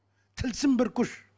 тылсым бір күш